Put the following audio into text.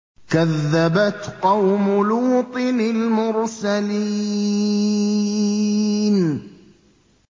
كَذَّبَتْ قَوْمُ لُوطٍ الْمُرْسَلِينَ